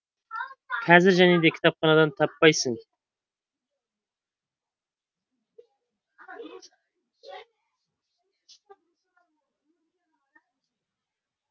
қазір және де кітапханадан таппайсың